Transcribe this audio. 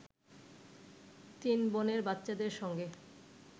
তিন বোনের বাচ্চাদের সঙ্গে